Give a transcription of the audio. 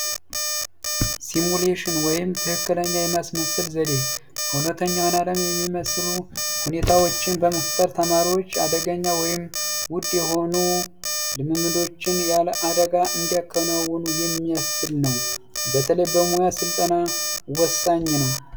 ሲሙሌሽን ወይም ትክክለኛ የማስመሰል ዘዴ እውነተኛውን ዓለም የሚመስሉ ሁኔታዎችን በመፍጠር ተማሪዎች አደገኛ ወይም ውድ የሆኑ ልምምዶችን ያለ አደጋ እንዲያከናውኑ የሚያስችል ነው። በተለይ በሙያ ስልጠና ወሳኝ ነው።